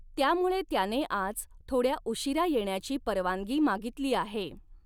त्यामुळे त्याने आज थोड्या उशीरा येण्याची परवानगी मागितली आहे.